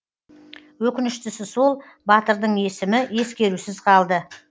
өкініштісі сол батырдың есімі ескерусіз қалды